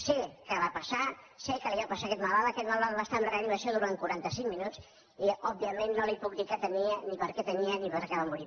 sé què va passar sé què li va passar a aquest malalt aquest malalt va estar en reanimació durant quaranta cinc minuts i òbviament no li puc dir què tenia ni per què ho tenia ni per què va morir